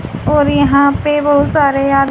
और यहां पे बहोत सारे या--